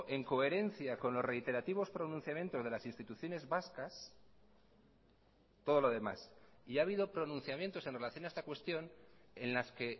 en coherencia con los reiterativos pronunciamientos de las instituciones vascas todo lo demás y ha habido pronunciamientos en relación a esta cuestión en las que